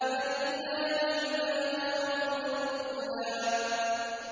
فَلِلَّهِ الْآخِرَةُ وَالْأُولَىٰ